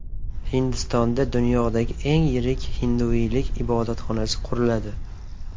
Hindistonda dunyodagi eng yirik hinduiylik ibodatxonasi quriladi.